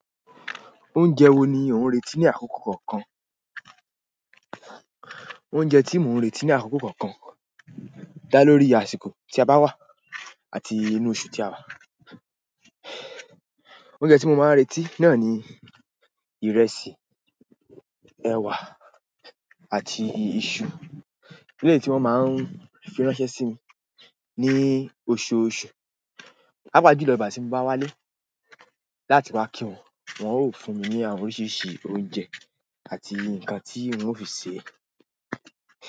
Oúnjẹ wo ni ò ń retí ní àkókò kọ̀ọ̀kan? Oúnjẹ tí mo ń retí ní àkókò kọ̀ọ̀kan dá lórí àsìkò tí a bá wà àti inú oṣù tí a wà. Oúnjẹ tí mo máa ń retí náà ni ìrẹsì, ẹ̀wà àti iṣu. Léyìí tí wọ́n máa ń fi ránṣẹ́ sí mi ní oṣooṣù. Pàápàá jùlọ ìgbà tí mo bá wálé láti wá kí wọn, wọn ó fún mi ní àwọn oríṣiríṣi oúnjẹ àti nǹkan tí wọn fi ṣe.